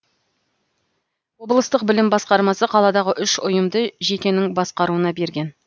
облыстық білім басқармасы қаладағы үш ұйымды жекенің басқаруына берген